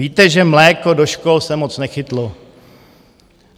Víte, že mléko do škol se moc nechytlo.